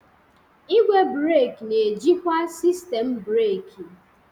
Igwe breeki na-ejikwa sistemu breeki.